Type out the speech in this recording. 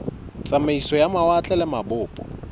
tsamaiso ya mawatle le mabopo